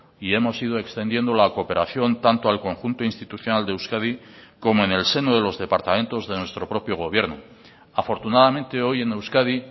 y hemos ido extendiendo la cooperación tanto al conjunto institucional de euskadi como en el seno de los departamentos de nuestro propio gobierno afortunadamente hoy en euskadi